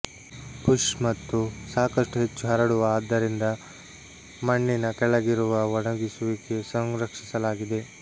bush ಮತ್ತು ಸಾಕಷ್ಟು ಹೆಚ್ಚು ಹರಡುವ ಆದ್ದರಿಂದ ಮಣ್ಣಿನ ಕೆಳಗಿರುವ ಒಣಗಿಸುವಿಕೆ ಸಂರಕ್ಷಿಸಲಾಗಿದೆ